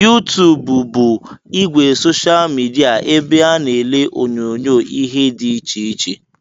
YouTube bụ ìgwè soshal midia ebe a na-ele onyonyoo ihe dị iche iche